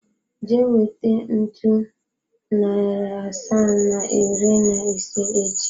Jee weta ntu, nari asaa na iri na ise echi!